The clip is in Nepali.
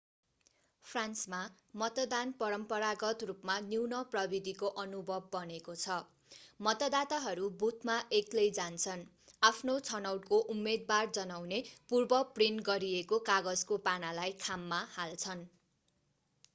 फ्रान्समा मतदान परम्परागत रूपमा न्यून-प्रविधिको अनुभव बनेको छ मतदाताहरू बुथमा एक्लै जान्छन् आफ्नो छनौटको उम्मेदवार जनाउने पूर्व-प्रिन्ट गरिएको कागजको पानालाई खाममा हाल्छन्